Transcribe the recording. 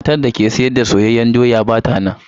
Matar da ke sayar da soyayyen doya ba ta nan.